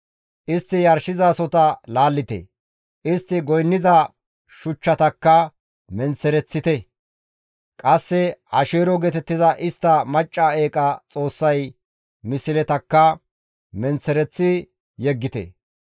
Istti yarshizasohota laallite; istti goynniza shuchchatakka menththereththite; qasse Asheero geetettiza istta macca eeqa xoossay misletakka menththereththi yeggite.